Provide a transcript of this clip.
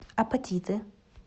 апатиты